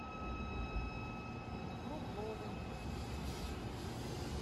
кругловым